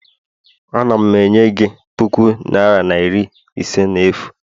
Ana m enye gị puku naira na iri ise n'efu